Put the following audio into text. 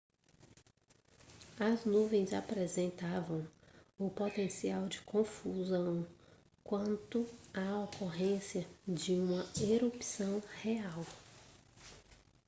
as nuvens apresentavam o potencial de confusão quanto à ocorrência de uma erupção real